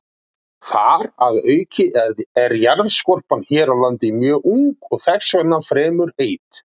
Þar að auki er jarðskorpan hér á landi mjög ung og þess vegna fremur heit.